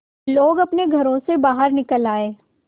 लोग अपने घरों से बाहर निकल आए